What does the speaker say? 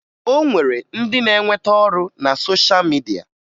O nwere ndị na-enweta ọrụ na sosha midia